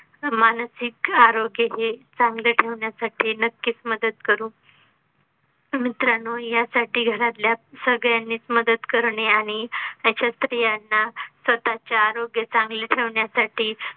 मानसिक आरोग्य हे चांगलं ठेवण्यासाठी नक्कीच मदत करू मित्रांनो यासाठी घरातल्या सगळ्यांनीच मदत करणे आणि त्याच्यात स्रियांना स्वतःच आरोग्य चांगल ठेवण्यासाठी